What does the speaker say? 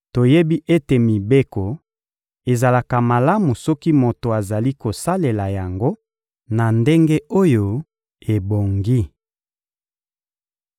Toyebi ete mibeko ezalaka malamu soki moto azali kosalela yango na ndenge oyo ebongi.